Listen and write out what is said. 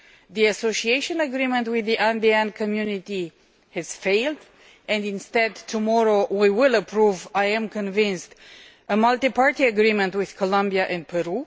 The Association Agreement with the Andean Community has failed and instead tomorrow we will approve, I am convinced, a Multi Party Agreement with Colombia and Peru.